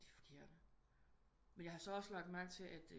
De er forkerte men jeg har så også lagt mærke til at